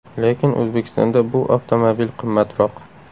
Lekin O‘zbekistonda bu avtomobil qimmatroq.